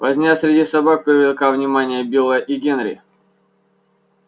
возня среди собак привлекла внимание билла и генри